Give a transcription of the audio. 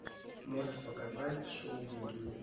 можешь показать шоу викинги